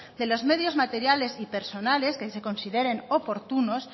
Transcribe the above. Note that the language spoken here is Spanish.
de los medios materiales y personales que se consideren oportunos